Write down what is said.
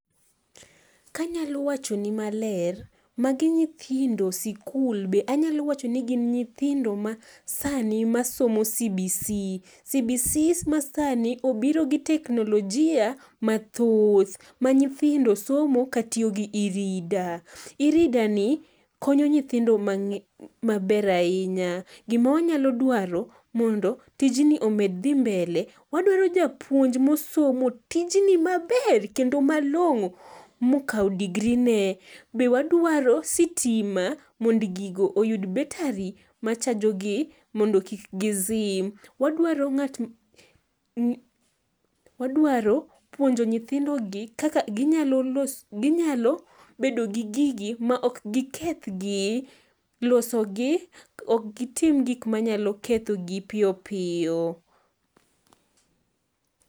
Kanyalo wachoni maler, magi nyithindo sikul be anyalo wachoni gin nyithindo masani masomo CBC,CBC masani obiro gi teknolojia[ca] mathoth ma nyithindo somo katiyo gi e-reader. e-reader ni konyo nyithindo maber ahinya, gima wanyalo dwaro mondo tijni omed dhi mbele, wadwaro japuonj mosomo tijni maber kendo malong'o mokawo degree ne. Be wadwaro sitima mondo gigo oyud betari machajogi mondo kik gizim. Wadwaro puonjo nyithindogi kaka ginyalo bedo gi gigi ,ma ok gikethgi, losogi ok gitim gik manyalo kethogi piyo piyo.